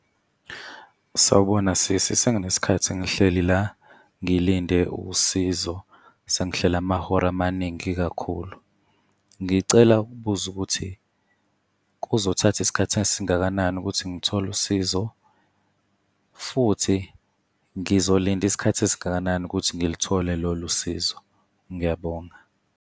Sawubona sisi. Senginesikhathi ngihleli la ngilinde usizo, sengihleli amahora amaningi kakhulu. Ngicela ukubuza ukuthi kuzothatha isikhathi esingakanani ukuthi ngithole usizo, futhi ngizolinda isikhathi esingakanani ukuthi ngilithole lolu sizo? Ngiyabonga.